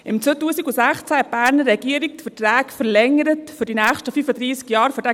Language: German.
2016 verlängerte die Berner Regierung die Verträge für diesen Campingplatz für die nächsten 35 Jahre.